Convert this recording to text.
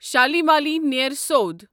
Shalmali Nair سۄدٕ